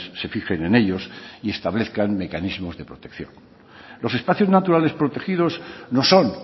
se fijen en ellos y establezcan mecanismos de protección los espacios naturales protegidos no son